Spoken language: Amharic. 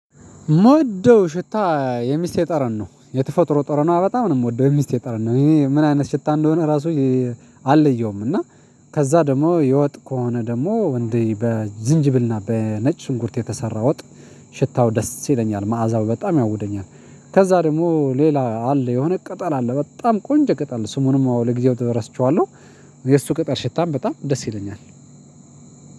ሞወደው ሽታ የሚስቴ ጠረን ነው የተፈጥሮ ጠረኗ በጣም ነው የሚስቴ ጠረን ነው እኔ ምን አይነት ሽታ እንደሆነ ራሱ አልለየውም። እና ከዛ ደግሞ የወጥ ከሆነ ደግሞ እንዴ በዝንጅብልና በነጭ ሽንኩርት የተሰራ ወጥ ሽታው ደስ ይለኛል መዓዛው በጣም ያውደኛል። ከዛ ደግሞ ሌላ አለ የሆነ ቅጠል አለ በጣም ቆንጆ ቅጠል ስሙንም ለጊዜው እረስቸዋለሁ። የእሱ ቅጠል ሽታም በጣም ደስ ይለኛል።